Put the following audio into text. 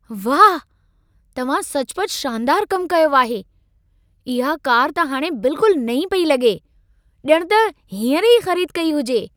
वाह! तव्हां सचु पचु शानदारु कमु कयो आहे। इहा कार त हाणे बिल्कुलु नईं पेई लॻे। ॼण त हींअर ई ख़रीद कई हुजे।